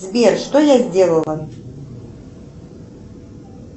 сбер что я сделала